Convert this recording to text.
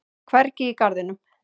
Hvergi í garðinum.